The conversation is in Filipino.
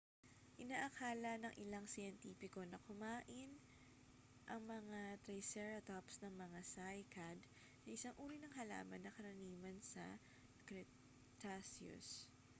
inaakala ng ilang siyentipiko na kumain ang mga triceratops ng mga cycad na isang uri ng halaman na karaniwan sa cretaceous